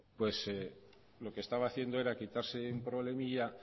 lo que estaba haciendo era quitarse un problemilla